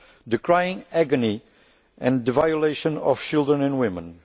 the crying agony and the violation of children and women